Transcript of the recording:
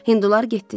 Hindular getdilər.